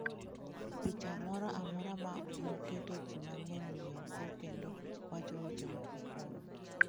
Picha moro amora ma moketo ji mang'eny ng'iyogo kendo wacho weche moko kuome.